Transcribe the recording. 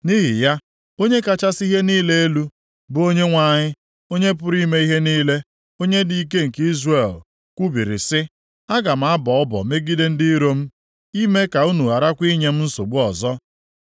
Nʼihi ya, Onye kachasị ihe niile elu, bụ Onyenwe anyị, Onye pụrụ ime ihe niile, Onye dị ike nke Izrel, kwubiri sị, “Aga m abọ ọbọ megide ndị iro m, ime ka unu gharakwa inye m nsogbu ọzọ.